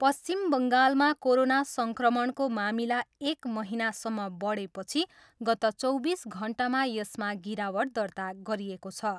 पश्चिम बङ्गालमा कोरोना सङ्क्रमणको मामिला एक महिनासम्म बढेपछि गत चौबिस घन्टामा यसमा गिरावट दर्ता गरिएको छ।